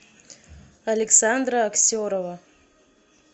александра аксерова